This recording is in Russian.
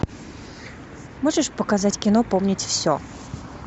можешь показать кино помнить все